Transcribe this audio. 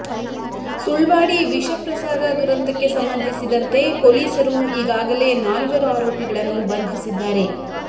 ಸುಳ್ವಾಡಿ ವಿಷ ಪ್ರಸಾದ ದುರಂತಕ್ಕೆ ಸಂಬಂಧಿಸಿದಂತೆ ಪೊಲೀಸರು ಈಗಾಗಲೇ ನಾಲ್ವರು ಆರೋಪಿಗಳನ್ನು ಬಂಧಿಸಿದ್ದಾರೆ